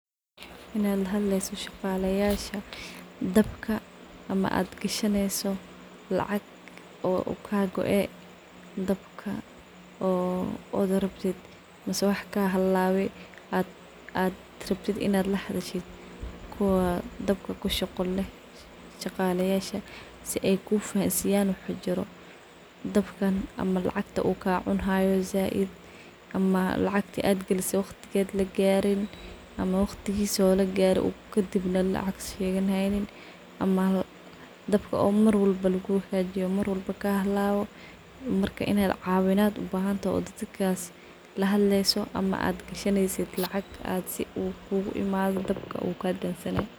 Inaad lahadleyso shaqalayasha dabka ama aad gashaneyso lacaq oo u kaa koo ee dabka o ad rabtit mise wax kaa halawe aad rabtit in aad lahadhashid kuwa dabka kashaqo leeh shaqalaysha sida ay kufahamisiyaan waxa jiro dabkaan ama lacgtaa un ka cunayo zaid ama lacagata aad galise lacagta ay gariin ama waqtisa laagare kadibna lacaq sheganahaynin ama dabka marwalba lagu hagajiyo marwalba kahalawo marka inaad cawinaad u bahantoho oo dadkas lahadlayso ama gashaneyso lacaq ad si uu kugu imado dabka uu kadamsamin.